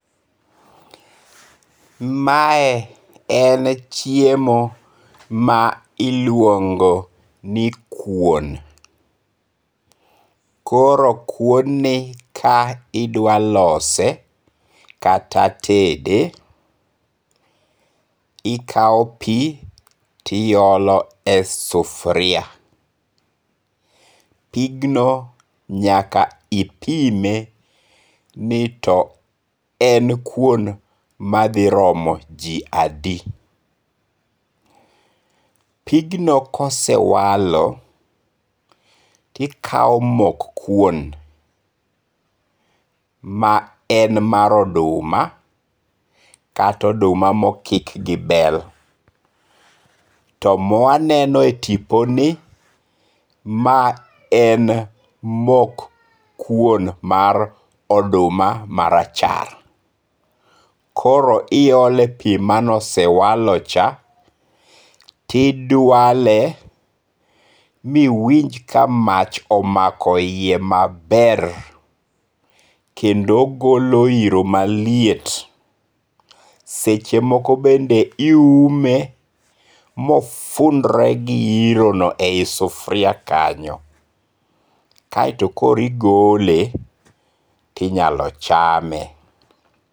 Mae en chiemo ma iluongo ni kuon, koro kuoni ka idwalose kata tede ikawo pi tiyole e sufuria, pigno nyaka ipime ni en kuon mathiromo ji adi, pigno kosewalo tikawo mok kuon ma en mar oduma kata oduma ma okik gi bel, to mwaneno e tiponi mae en mok kuon mar oduma marachar, koro wiyole e pi mane osewalocha tidwale ma iwinj ka mach omako hiye maber kendo golo hiro maliet, sechemoko bende iume mofundre gi irono e sufuria kanyo kaeto koro igole tinyalo chame.